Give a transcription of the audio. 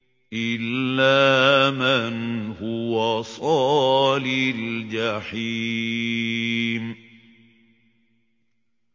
إِلَّا مَنْ هُوَ صَالِ الْجَحِيمِ